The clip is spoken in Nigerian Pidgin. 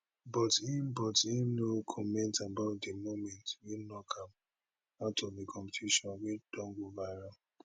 but im but im no comment about di moment wey knock am out of di competition wey don go viral